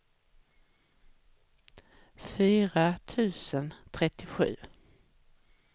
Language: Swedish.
fyra tusen trettiosju